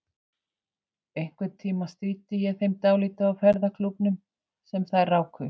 Einhvern tíma stríddi ég þeim dálítið á ferðaklúbbnum sem þær ráku.